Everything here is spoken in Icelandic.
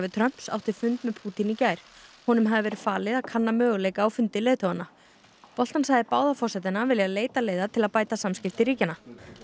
Trumps átti fund með Pútín í gær honum hafði verið falið að kanna möguleika á fundi leiðtoganna Bolton sagði báða forsetana vilja leita leiða til að bæta samskipti ríkjanna